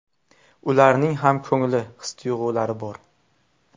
Ularning ham ko‘ngli, his- tuyg‘ulari bor.